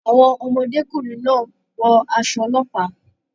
Àwọn ọmọdékùnrin náà wọ aṣọ ọlọ́pàá.